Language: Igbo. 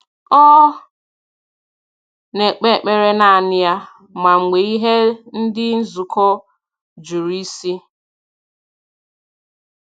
Ọ na-ekpe ekpere naanị ya, ma mgbe ihe ndị nzukọ juru isi